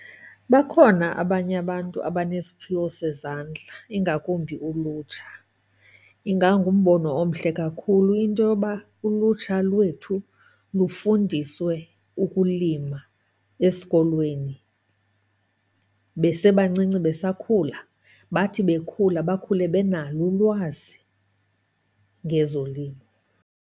Bakhona abanye abantu abanesiphiwo sezandla ingakumbi ulutsha. Ingangumbono omhle kakhulu into yoba ulutsha lwethu lufundiswe ukulima esikolweni besebancinci, besakhula. Bathi bekhula bakhule benalo ulwazi ngezolimo.